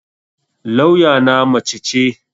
Lawya na mace ce